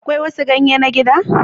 Akwai wasu ganye na gida?